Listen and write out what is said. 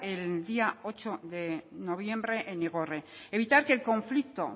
el día ocho de noviembre en igorre evitar que el conflicto